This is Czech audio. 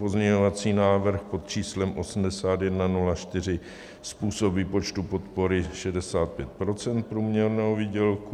Pozměňovací návrh pod číslem 8104 - způsob výpočtu podpory 65 % průměrného výdělku.